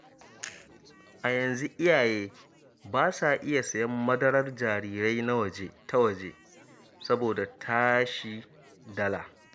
A yanzu iyaye ba sa iya sayen madarar jarirai ta waje, saboda tashi dala.